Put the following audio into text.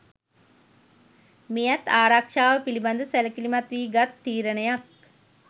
මෙයත් ආරක්‍ෂාව පිළිබඳ සැලකිලිමත් වී ගත් තීරණයක්.